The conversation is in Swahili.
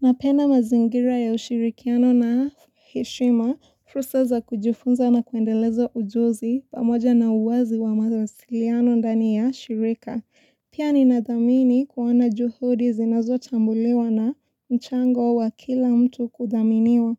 Napena mazingira ya ushirikiano na hishima, fru seza kujufunza na kuendelezo ujozi pamoja na uwazi wa mazawasiliano ndani ya shirika. Pia ninadamini kuwana juhodi zinazotambulewa na nchango wa kila mtu kudaminiwa.